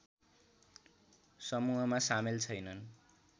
समूहमा सामेल छैनन्